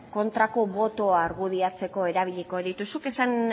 kontrako botoa argudiatzeko erabiliko ditut zuk esan